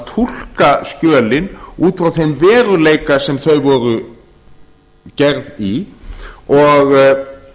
túlka skjölin út frá þeim veruleika sem þau voru gerð í og